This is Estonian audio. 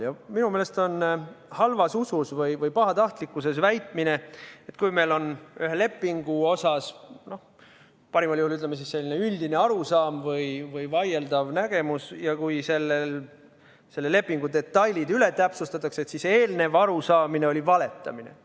Ja minu meelest on tegu halva usuga või pahatahtlikkusega, kui juhul, kui meil on ühe lepingu osas, ütleme, parimal juhul selline üldine arusaam või vaieldav nägemus ja pärast seda, kui selle lepingu detailid üle täpsustatakse, väidetakse, et eelnev arusaamine oli valetamine.